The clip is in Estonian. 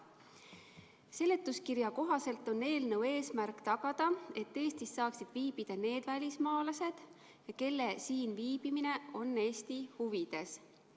Seletuskirja kohaselt on eelnõu eesmärk tagada, et Eestis saaksid viibida need välismaalased, kelle siin viibimine on Eesti huvides.